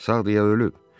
Sağdı ya ölüb?